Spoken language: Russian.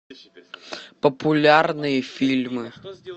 популярные фильмы